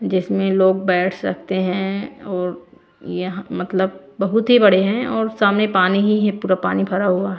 जिसमें लोग बैठ सकते हैं और यह मतलब बहुत ही बड़े हैं और सामने पानी ही पूरा पानी भरा हुआ।